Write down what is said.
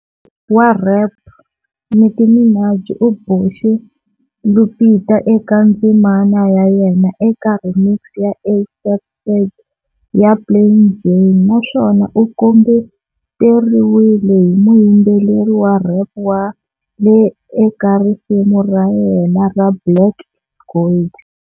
Wa rhep Nicki Minaj u boxe Lupita eka ndzimana ya yena eka remix ya A$AP Ferg ya Plain Jane naswona u kombeteriwile hi muyimbeleri wa rhep Wale eka risimu ra yena ra Black Gold.